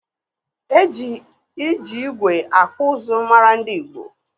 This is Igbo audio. E ji iji igwe akpụ ụzụ mara ndị Igbo.